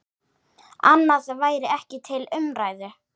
Annað væri ekki til umræðu.